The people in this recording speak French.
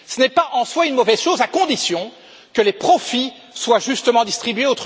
machines. Ce n'est pas en soi une mauvaise chose, à condition que les profits soient justement